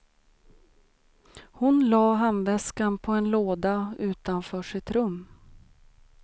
Hon la handväskan på en låda utanför sitt rum.